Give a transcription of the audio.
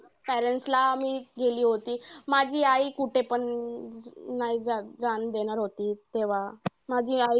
Parents ला मी गेली होती. माझी आई कुठेपण नाही जाणं नाही जाणं देणार होती तेव्हा. माझी आई